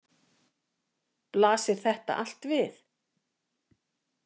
Blasir þetta allt við?